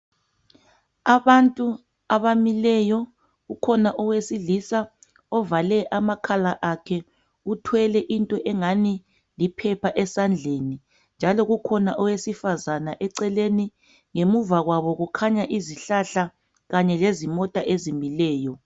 Abantu abamileyo kukhona owesilisa ovale amakhala akhe. Uthwele into engani liphepha esandleni. Njalo kukhona owesifazana eceleni. Ngemuva kwabo kukhanya izihlahla kanye lezimota ezimileyo.